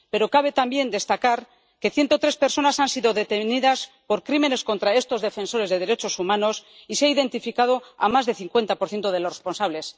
Pero cabe también destacar que 103 personas han sido detenidas por crímenes contra estos defensores de los derechos humanos y se ha identificado a más del 50 de los responsables.